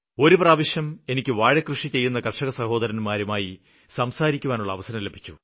ഒരു പ്രാവശ്യം എനിക്ക് വാഴക്കൃഷി ചെയ്യുന്ന കര്ഷകസഹോരന്മാരുമായി സംസാരിക്കുവാനുള്ള അവസരം ലഭിച്ചു